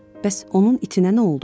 Bəs onun itinə nə oldu?